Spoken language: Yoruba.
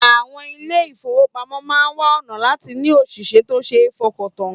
Àwọn ilé-ìfowópamọ́ máa wá ọ̀nà láti ní òṣìṣẹ́ tó ṣe fọkàntàn